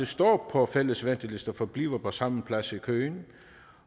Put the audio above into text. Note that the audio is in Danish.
står på fælles ventelister forbliver på samme plads i køen